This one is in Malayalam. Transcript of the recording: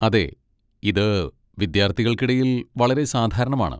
അതെ, ഇത് വിദ്യാർത്ഥികൾക്കിടയിൽ വളരെ സാധാരണമാണ്.